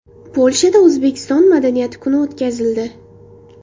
Polshada O‘zbekiston madaniyati kuni o‘tkazildi.